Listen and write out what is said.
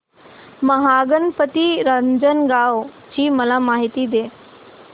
महागणपती रांजणगाव ची मला माहिती दे